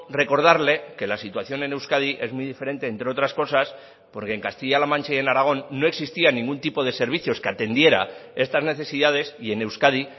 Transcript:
recordarle que la situación en euskadi es muy diferente entre otras cosas porque en castilla la mancha y en aragón no existía ningún tipo de servicios que atendiera estas necesidades y en euskadi